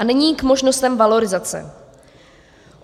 A nyní k možnostem valorizace.